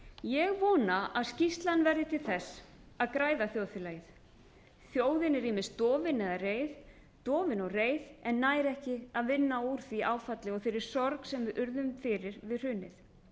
ég vona að skýrslan verði til þess að græða þjóðfélagið þjóðin er ýmist dofin eða reið dofin og reið en nær ekki að vinna úr því áfalli og þeirri sorg sem við urðum fyrir við hrunið